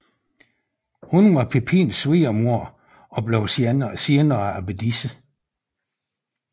Hun var Pipins svigermor og blev senere abbedisse